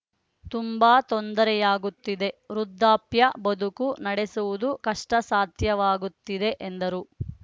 ತುಂಬಾ ತೊಂದರೆಯಾಗುತ್ತಿದೆ ವೃದ್ಧಾಪ್ಯ ಬದುಕು ನಡೆಸುವುದು ಕಷ್ಟಸಾಧ್ಯವಾಗುತ್ತಿದೆ ಎಂದರು